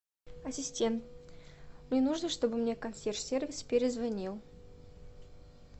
ассистент мне нужно чтобы мне консьерж сервис перезвонил